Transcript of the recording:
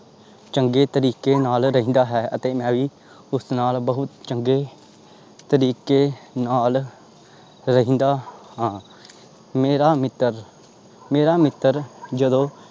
ਚੰਗੇ ਤਰੀਕੇ ਨਾਲ ਰਹਿੰਦਾ ਹੈ ਅਤੇ ਮੈਂ ਵੀ ਉਸ ਨਾਲ ਬਹੁਤ ਚੰਗੇ ਤਰੀਕੇ ਨਾਲ ਰਹਿੰਦਾ ਹਾਂ ਮੇਰਾ ਮਿੱਤਰ ਮੇਰਾ ਮਿੱਤਰ ਜਦੋਂ